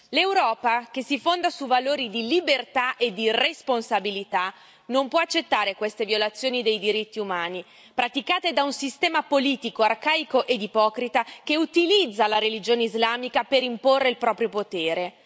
L'Europa, che si fonda su valori di libertà e di responsabilità, non può accettare queste violazioni dei diritti umani, praticate da un sistema politico arcaico e ipocrita che utilizza la religione islamica per imporre il proprio potere.